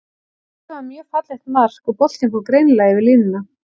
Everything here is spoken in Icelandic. Þetta var mjög fallegt mark, og boltinn fór greinilega yfir línuna.